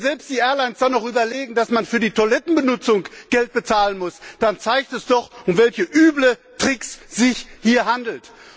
Wenn die Airlines dann noch überlegen, dass man selbst für die Toilettenbenutzung Geld bezahlen muss, dann zeigt das doch, um welche üblen Tricks es sich hier handelt.